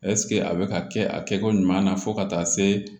a bɛ ka kɛ a kɛko ɲuman na fo ka taa se